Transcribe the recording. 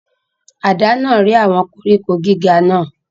Àdá náà rẹ́ àwọn koríko gíga náà.